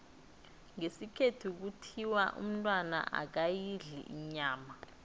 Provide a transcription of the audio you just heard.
ngesikhethu kuthiwa umntwana akayidli inyama